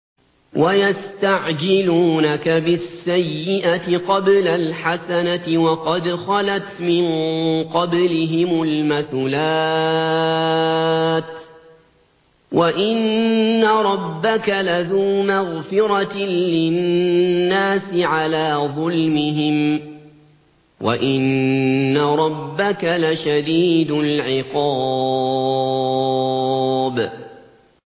وَيَسْتَعْجِلُونَكَ بِالسَّيِّئَةِ قَبْلَ الْحَسَنَةِ وَقَدْ خَلَتْ مِن قَبْلِهِمُ الْمَثُلَاتُ ۗ وَإِنَّ رَبَّكَ لَذُو مَغْفِرَةٍ لِّلنَّاسِ عَلَىٰ ظُلْمِهِمْ ۖ وَإِنَّ رَبَّكَ لَشَدِيدُ الْعِقَابِ